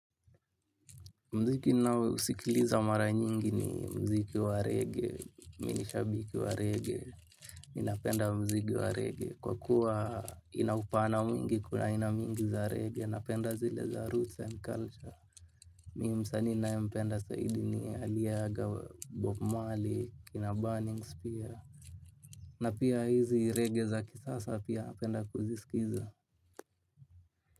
Muziki na usikiliza mara nyingi ni muziki wa reggae, mimi ni shabiki wa reggae, ni napenda muziki wa reggae kwa kuwa inaupana mwingi kuna aina nyingi za reggae, napenda zile za roots and culture. Mi msani ninaye mpenda zaidi ni aliyeaga bob marley, na burning spear, na pia hizi reggae za kisasa pia napenda kuziskiza.